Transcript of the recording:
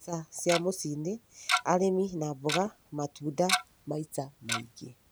Mbeca cia mũcii-inĩ: Arĩmi a mboga na matunda maita maingĩ